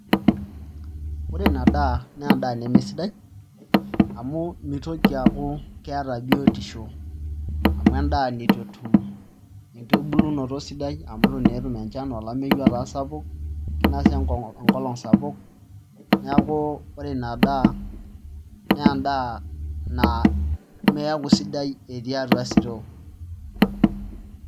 Ore ina daa naa endaa nemesidai amu mitoki aaku keeta biotisho amu endaa nitu etum enkitubulunoto sidai amu itu naa etum enchan, olameyu otaa sapuk inasa enkolong' sapuk neeeku ore ina daa naa endaa nemeeku sidai etii atua store.